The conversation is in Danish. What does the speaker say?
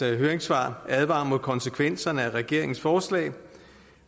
høringssvar advarer imod konsekvenserne af regeringens forslag